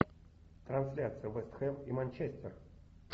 трансляция вест хэм и манчестер